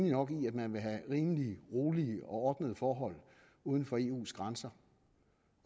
nok i at man vil have rimelige rolige og ordnede forhold uden for eus grænser